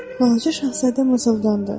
Balaca Şahzadə mızıldandı.